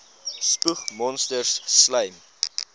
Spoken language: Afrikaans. spoeg monsters slym